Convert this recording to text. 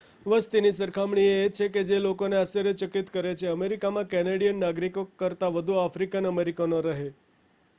વસ્તીની સરખામણી એ છે કે જે લોકોને આશ્ચર્યચકિત કરે છે અમેરિકામાં કેનેડિયન નાગરિકો કરતાં વધુ આફ્રિકન અમેરિકનો રહે